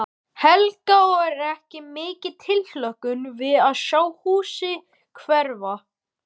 Helga: Og er mikil tilhlökkun við að sjá húsið hverfa?